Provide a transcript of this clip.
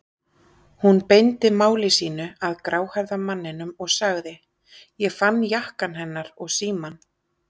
Hún beindi máli sínu að gráhærða manninum og sagði: Ég fann jakkann hennar og símann.